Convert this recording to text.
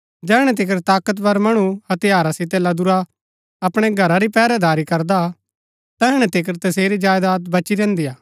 जैहणै तिकर ताकतवर मणु हथियारा सितै लदूरा अपणै घरा री पैहरैदारी करदा तैहणै तिकर तसेरी जायदात बची रैहन्‍दी हा